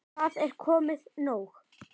Það er komið nóg.